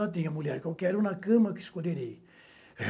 Lá tem a mulher que eu quero na cama que escolherei.